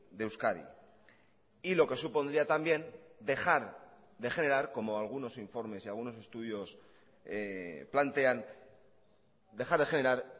de euskadi y lo que supondría también dejar de generar como algunos informes y algunos estudios plantean dejar de generar